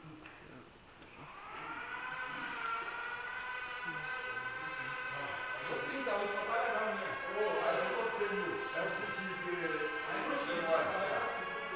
ya go tlwaelega ba no